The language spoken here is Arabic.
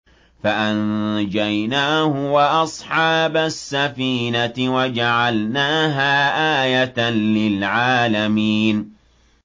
فَأَنجَيْنَاهُ وَأَصْحَابَ السَّفِينَةِ وَجَعَلْنَاهَا آيَةً لِّلْعَالَمِينَ